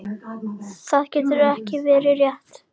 Það getur ekki verið rétt.